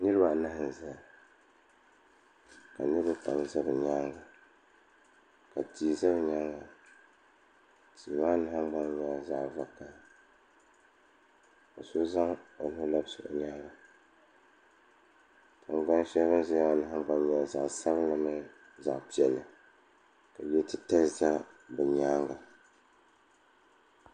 Niriba anahi n zaya ka niriba pam za bi nyaanga ka tia za nyaanga tia maa nahingbana nyɛla zaɣa vakahali ka so zaŋ o nuu labisi o nyaanga tingbani sheli bini zaya maa nyɛla zaɣa sabinli ni zaɣa piɛlli ka yo'titali za bɛ nyaanga.